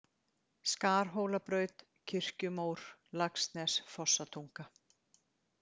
Skarhólabraut, Kirkjumór, Laxnes, Fossatunga